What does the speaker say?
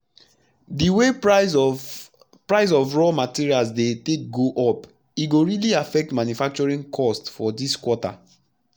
d way price of price of raw material take dey go up e go really affect manufacturing cost for dis quarter